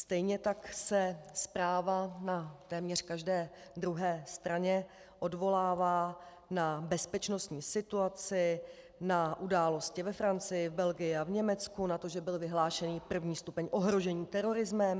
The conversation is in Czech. Stejně tak se zpráva na téměř každé druhé straně odvolává na bezpečnostní situaci, na události ve Francii, v Belgii a v Německu, na to, že byl vyhlášený první stupeň ohrožení terorismem.